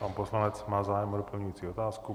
Pan poslanec má zájem o doplňující otázku.